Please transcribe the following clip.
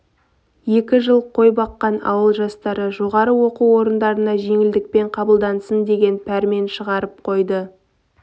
екі жыл қой баққан ауыл жастары жоғарғы оқу орындарына жеңілдікпен қабылдансын деген пәрмен шығарып қойды